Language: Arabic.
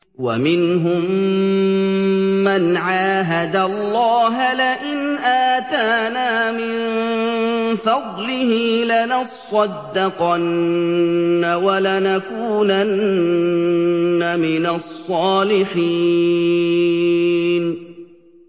۞ وَمِنْهُم مَّنْ عَاهَدَ اللَّهَ لَئِنْ آتَانَا مِن فَضْلِهِ لَنَصَّدَّقَنَّ وَلَنَكُونَنَّ مِنَ الصَّالِحِينَ